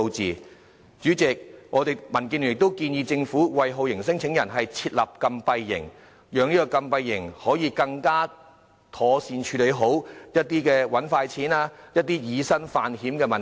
代理主席，民建聯亦建議政府，為酷刑聲請人設立禁閉營，以禁閉營來妥善處理一些想"搵快錢"、以身犯險的聲請人問題。